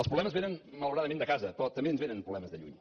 els problemes vénen malauradament de casa però també ens vénen problemes de lluny